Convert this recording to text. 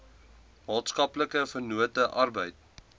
maatskaplike vennote arbeid